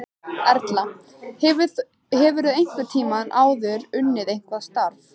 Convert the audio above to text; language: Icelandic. Erla: Hefurðu einhvern tímann áður unnið eitthvað starf?